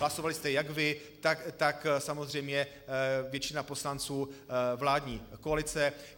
Hlasovali jste jak vy, tak samozřejmě většina poslanců vládní koalice.